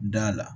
Da la